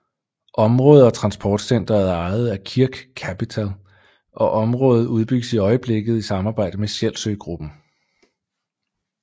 Området og transportcenteret er ejet af Kirk Kapital og området udbygges i øjeblikket i samarbejde med Sjælsø Gruppen